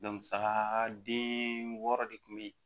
saga den wɔɔrɔ de kun be yen